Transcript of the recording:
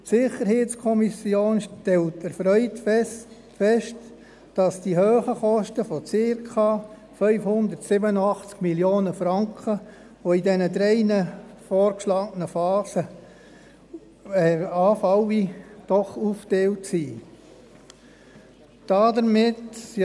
Die SiK stellt erfreut fest, dass die hohen Kosten von circa 587 Mio. Franken, die in diesen drei vorgeschlagenen Phasen anfallen werden, doch aufgeteilt sind.